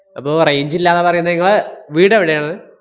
അപ്പോ range ഇല്ലാന്നാ പറയുന്നേ ~ങ്ങളെ വീടെവിടെയാണ്?